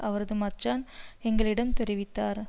அவரது மச்சான் எங்களிடம் தெரிவித்தார்